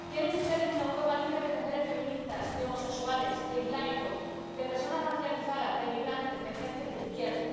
Quieren ustedes una Europa libre de mujeres feministas, de homosexuales, de islámicos, de personas racializadas, de migrantes, de gentes de izquierda.